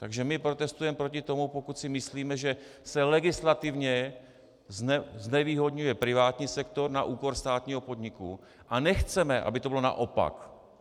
Takže my protestujeme proti tomu, pokud si myslíme, že se legislativně znevýhodňuje privátní sektor na úkor státního podniku, a nechceme, aby to bylo naopak.